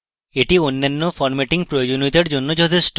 এটি অন্যান্য formatting প্রয়োজনীয়তার জন্য যথেষ্ট